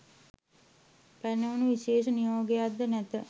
පැනවුණු විශේෂ නියෝගයක් ද නැත